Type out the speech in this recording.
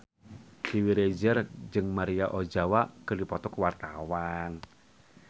Dewi Rezer jeung Maria Ozawa keur dipoto ku wartawan